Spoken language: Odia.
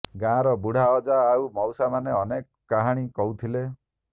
ଗାଁର ବୁଢା ଅଜା ଆଉ ମଉସାମାନେ ଅନେକ କାହାଣୀ କହୁଥିଲେ